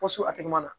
Pɔsi a tɛgɛ ma na